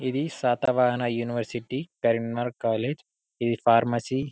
ఇది Satavahana university Karimnagar college ఇది pharmacy .